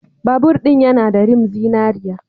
Babur ɗin yana da rim zinariya.